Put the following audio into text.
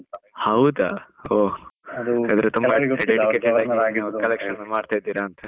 ಹೌದಾ ಓ, collection ಮಾಡ್ತಿದ್ರಾ ಅಂತ?